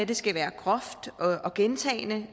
det skal være groft og gentagne